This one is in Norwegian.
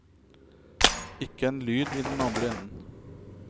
Ikke en lyd i den andre enden.